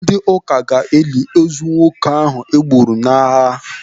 Ndị ụka ga-eli ozu nwoke ahụ e gburu n'agham